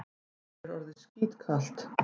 Mér er orðið skítkalt.